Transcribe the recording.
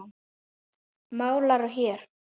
Málarðu hér? spurði ég.